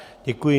Děkuji.